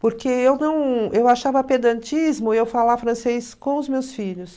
Porque eu não... Eu achava pedantismo eu falar francês com os meus filhos.